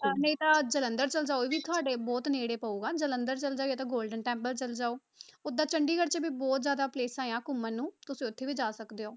ਨਹੀਂ ਤਾਂ ਜਲੰਧਰ ਚਲੇ ਜਾਓ ਉਹ ਵੀ ਤੁਹਾਡੇ ਬਹੁਤ ਨੇੜੇ ਪਊਗਾ ਜਲੰਧਰ ਚਲੇ ਜਾਂ ਤਾਂ golden temple ਚਲੇ ਜਾਓ, ਓਦਾਂ ਚੰਡੀਗੜ੍ਹ 'ਚ ਵੀ ਬਹੁਤ ਜ਼ਿਆਦਾ places ਆਂ ਘੁੰਮਣ ਨੂੰ ਤੁਸੀਂ ਉੱਥੇ ਵੀ ਜਾ ਸਕਦੇ ਹੋ।